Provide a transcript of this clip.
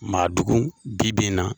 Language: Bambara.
Madugu bi bi in na.